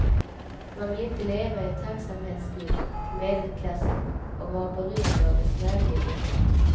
Man vill inte leva i tacksamhetsskuld till medelklassen och vara beroende av dess välvilja.